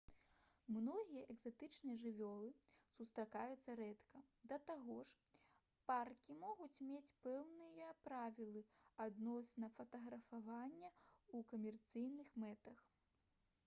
многія экзатычныя жывёлы сустракаюцца рэдка да таго ж паркі могуць мець пэўныя правілы адносна фатаграфавання ў камерцыйных мэтах